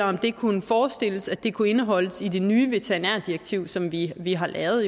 om det kunne forestilles at det kunne indeholdes i det nye veterinærdirektiv som vi vi har lavet